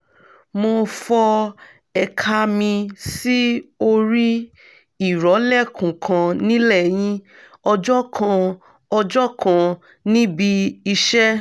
mo fọ́ ẹ̀ka mi sí orí ìrọ̀lẹ́kùn kan nílẹ́yìn ọjọ́ kan ọjọ́ kan níbi iṣẹ́